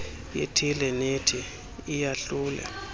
ithile nethi iyahlule